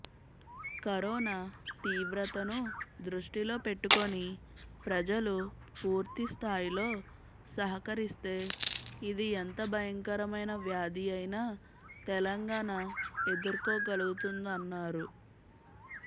corona తీవ్రతను దృష్టిలో పెట్టుకుని ప్రజలు పూర్తిస్థాయిలో సహకరిస్తే ఇది ఎంత భయంకరమైన వ్యాధి అయినా తెలంగాణ ఎదుర్కోగలుగుతుందన్నారు